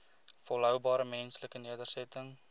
volhoubare menslike nedersettings